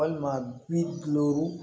Walima bi duuru